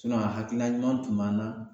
sinɔn a hakilina ɲuman tun b'an nan